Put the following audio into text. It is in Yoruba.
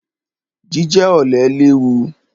Jíjẹ ọ̀lẹ léwu.